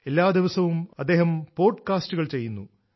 എല്ലാ ദിവസവും അദ്ദേഹം പോഡ്കാസ്റ്റുകൾ ചെയ്യുന്നു